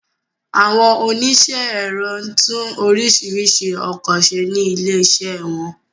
Àwọn oníṣẹ́ ẹ̀rọ tún oríṣiríṣi ọkọ ṣe ní ilé ìṣe wọn